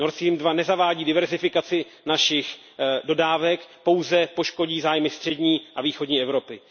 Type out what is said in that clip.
Nord Stream 2 nezavádí diverzifikaci našich dodávek, pouze poškodí zájmy střední a východní Evropy.